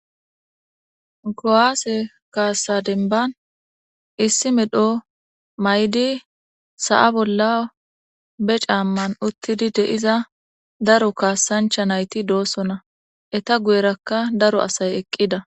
kowaase kaassa denban issi medho may7di sa7a bolla be caamman uttidi deiza daro kaassancha nayti doosona eta guyerakka daro asay eqqida